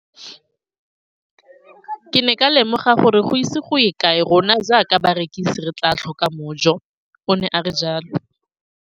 Ke ne ka lemoga gore go ise go ye kae rona jaaka barekise re tla tlhoka mojo, o ne a re jalo.